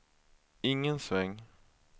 ingen sväng